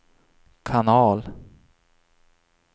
kanal